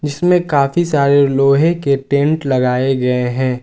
इसमें काफी सारे लोहे के टेंट लगाए गए हैं।